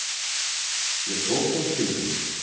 Ég tók það til mín.